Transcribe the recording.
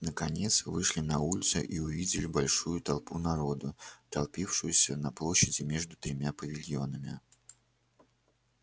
наконец вышли на улицу и увидели большую толпу народу толпившуюся на площади между тремя павильонами